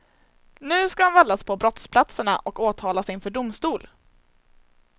Nu ska han vallas på brottsplatserna och åtalas inför domstol.